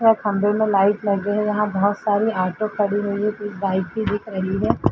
एक खंभे में लाइट लगी हुई यहां बोहोत सारी ऑटो खड़ी हुई है कुछ बाइक भी दिख रही हैं।